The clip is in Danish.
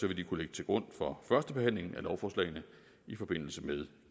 vil de kunne ligge til grund for førstebehandlingen af lovforslagene i forbindelse med